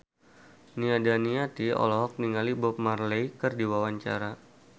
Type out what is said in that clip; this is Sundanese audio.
Nia Daniati olohok ningali Bob Marley keur diwawancara